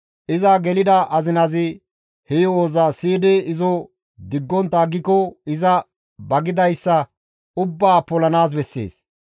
iza gelida azinazi he yo7oza siyidi izo diggontta aggiko iza ba gidayssa ubbaa polanaas bessees.